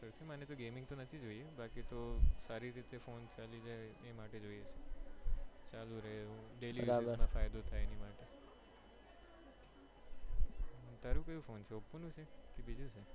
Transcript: હા આ બધી gaming તો નથી જોઈ બાકી તો સારી રીતે ફોન ચાલી જાય એ માટે જોઈ છે ચાલુ રહે એવો daily કઈ નો થાય એમાં ટેરો કયો ફોન છે oppo નો છે કે બીજો છે.